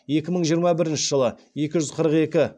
екі мың жиырма бірінші жылы екі жүз қырық екі